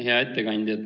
Hea ettekandja!